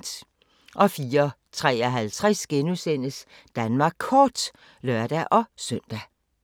04:53: Danmark Kort *(lør-søn)